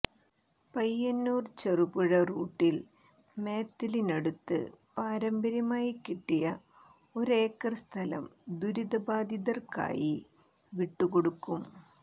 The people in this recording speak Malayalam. പയ്യന്നൂർ ചെറുപുഴ റൂട്ടിൽ മാത്തിലിനടുത്ത് പാരമ്പര്യമായി കിട്ടിയ ഒരേക്കർ സ്ഥലം ദുരിത ബാധിതർക്കായി വിട്ടുകൊടുക്കും